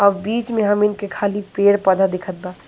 अ बिच में हमिन के खाली पेड़ पौधा दिखत बा।